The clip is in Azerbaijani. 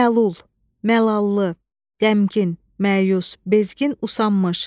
Məlul, məlallı, qəmkin, məyus, bezgin, usanmış.